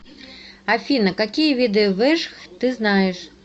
афина какие виды вэжх ты знаешь